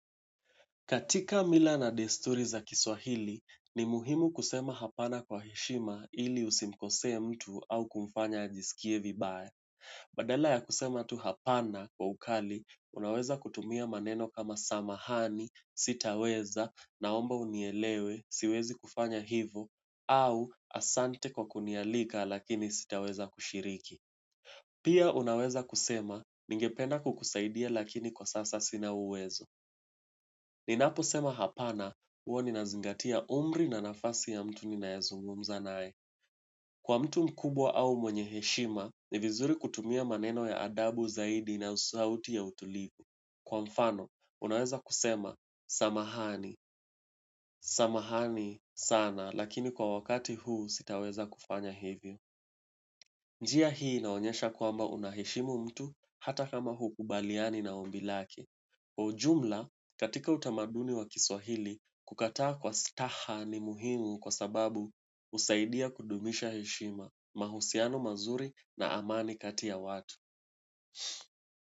Katika mila na desturi za Kiswahili, ni muhimu kusema hapana kwa heshima ili usimkosee mtu au kumfanya ajisikie vibaya. Badala ya kusema tu hapana kwa ukali, unaweza kutumia maneno kama samahani, sitaweza, naomba unielewe, siwezi kufanya hivo, au asante kwa kunialika lakini sitaweza kushiriki. Pia unaweza kusema, ningependa kukusaidia lakini kwa sasa sina uwezo. Ninapo sema hapana, huwa ni nazingatia umri na nafasi ya mtu ni naezungumza naye. Kwa mtu mkubwa au mwenye heshima, ni vizuri kutumia maneno ya adabu zaidi na sauti ya utulivu. Kwa mfano, unaweza kusema, samahani, samahani sana, lakini kwa wakati huu sitaweza kufanya hivyo. Njia hii inaonyesha kwamba unaheshimu mtu hata kama hukubaliani na ombi lake. Kwa jumla katika utamaduni wa Kiswahili kukataa kwa staha ni muhimu kwa sababu husaidia kudumisha heshima mahusiano mazuri na amani kati ya watu.